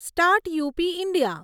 start up India